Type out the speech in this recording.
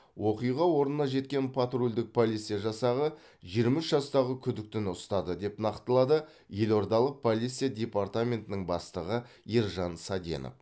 оқиға орнына жеткен патрульдік полиция жасағы жиырма үш жастағы күдіктіні ұстады деп нақтылады елордалық полиция департаментінің бастығы ержан саденов